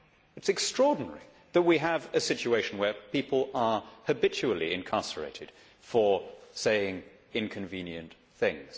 It is extraordinary that we have a situation where people are habitually incarcerated for saying inconvenient things.